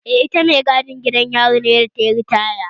Eh, ita mai gadin gidan yari ce da tayi ritaya